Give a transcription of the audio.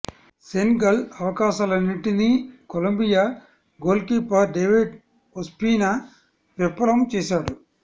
Senegal అవకాశాలన్నింటినీ Colombia goalkeeper David Ospina విఫ లం చేశాడు